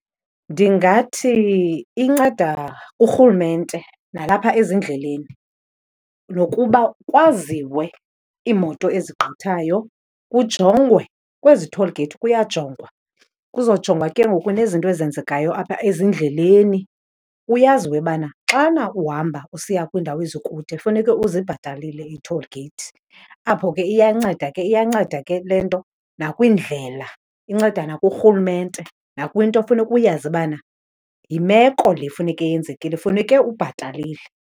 Ndingathi inceda urhulumente nalapha ezindleleni, nokuba kwaziwe iimoto ezigqithayo kujongwe, kwezi toll gate kuyajongwa. Kuzojongwa ke ngoku nezinto ezenzekayo apha ezindleleni kuyaziwe bana xana uhamba usiya kwiindawo ezikude funeke uzibhatalile ii-toll gate. Apho ke iyanceda ke, iyanceda ke le nto nakwiindlela, inceda nakurhulumente, nakwinto funeka uyazi bana yimeko le funeke yenzekile, funeke ubhatalile.